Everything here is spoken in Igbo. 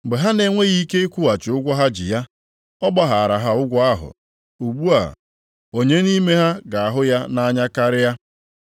Mgbe ha na-enweghị ike ịkwụghachi ụgwọ ha ji ya, ọ gbaghara ha ụgwọ ahụ. Ugbu a, onye nʼime ha ga-ahụ ya nʼanya karịa?”